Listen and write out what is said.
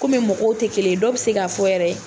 Kɔmi mɔgɔw tɛ kelen dɔw bɛ se ka fɔ yɛrɛ.